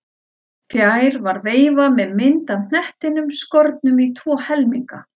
Fjær var veifa með mynd af hnettinum skornum í tvo helminga.